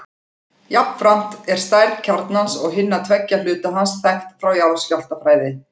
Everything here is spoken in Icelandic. Jafnframt er stærð kjarnans og hinna tveggja hluta hans þekkt frá jarðskjálftafræði.